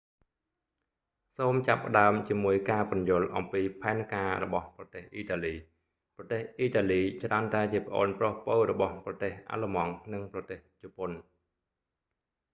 សូមចាប់ផ្តើមជាមួយការពន្យល់អំពីផែនការរបស់ប្រទេសអ៊ីតាលី ប្រទេសអ៊ីតាលីច្រើនតែជាប្អូនប្រុសពៅរបស់ប្រទេសអាល្លឺម៉ង់ និងប្រទេសជប៉ុន